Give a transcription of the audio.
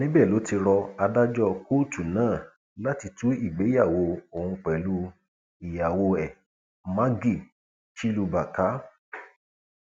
níbẹ ló ti rọ adájọ kóòtù náà láti tú ìgbéyàwó òun pẹlú ìyàwó ẹ maggie chiluba ká